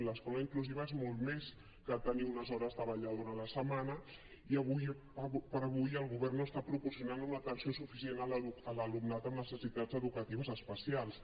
l’escola inclusiva és molt més que tenir unes hores de vetlladora a la setmana i ara com ara el govern no està proporcionant una atenció suficient a l’alumnat amb necessitats educatives especials